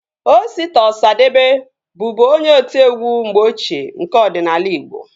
Osita Ọsadebe bụbu onye otiegwu mgbe ochie nke ọdịnala igbo